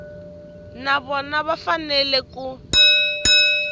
na vona va fanele ku